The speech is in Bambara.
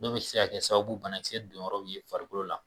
N'o bɛ se ka kɛ sababu banakise don yɔrɔw ye farikolo la.